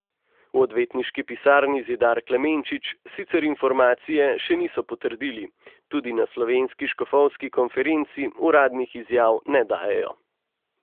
V odvetniški pisarni Zidar Klemenčič sicer informacije še niso potrdili, tudi na Slovenski škofovski konferenci uradnih izjav ne dajejo.